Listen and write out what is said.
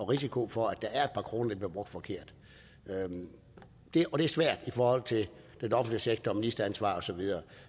risiko for at der er et par kroner der bliver brugt forkert og det er svært i forhold til den offentlige sektor og ministeransvar og så videre